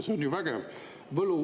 See on ju vägev.